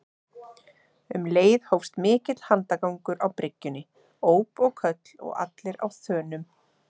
Um leið hófst mikill handagangur á bryggjunni, óp og köll og allir á þönum.